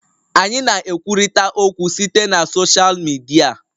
Anyị na-ekwurịta okwu site na soshal Midia